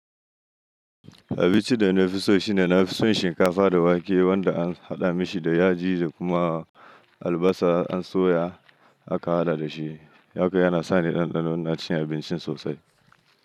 Abinci da na fi so shi ne na fi son shinkafa da wake wanda an haɗa mishi da yaji da kuma albasa an soya aka haɗa da shi, haka yana sa ni ɗanɗano na cin abincin sosai.